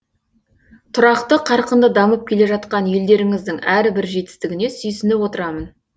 тұрақты қарқынды дамып келе жатқан елдеріңіздің әрбір жетістігіне сүйсініп отырамын